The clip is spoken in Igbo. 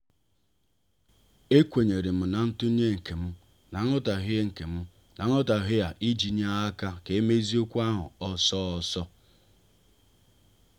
ekwenyerem na ntunye nkem na nghotaghie nkem na nghotaghie a iji nye aka ka emezie okwu ahụ ọsọ ọsọ.